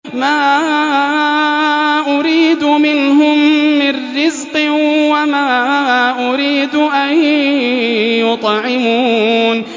مَا أُرِيدُ مِنْهُم مِّن رِّزْقٍ وَمَا أُرِيدُ أَن يُطْعِمُونِ